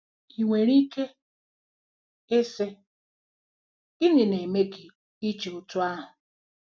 Ị nwere ike ịsị: "Gịnị na-eme gị iche otú ahụ?"